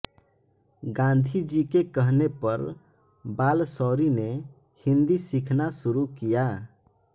गांधीजी के कहने पर बालशौरि ने हिंदी सीखना शुरू किया